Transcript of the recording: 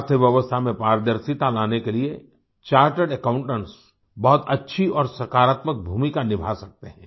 अर्थव्यवस्था में पारदर्शिता लाने के लिए चार्टर्ड अकाउंटेंट्स बहुत अच्छी और सकारात्मक भूमिका निभा सकते हैं